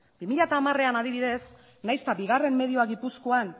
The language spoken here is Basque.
bi mila hamarean adibidez nahiz eta bigarren medioa gipuzkoan